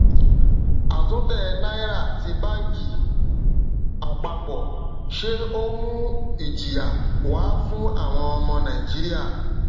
a tún tẹ náírà tí banki apapo ṣe ó mú ìjìyà wá fún àwọn ọmọ naijiria